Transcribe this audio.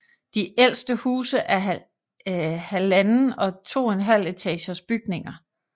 De ældste huse er 1½ og 2½ etagers bygninger